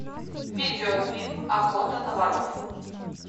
видео фильм охота на воров